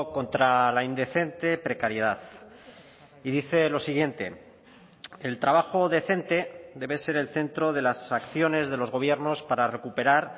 contra la indecente precariedad y dice lo siguiente el trabajo decente debe ser el centro de las acciones de los gobiernos para recuperar